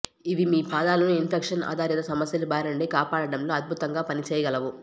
ఇవి మీ పాదాలను ఇన్ఫెక్షన్ ఆధారిత సమస్యల బారినుండి కాపాడడంలో అద్భుతంగా పనిచేయగలవు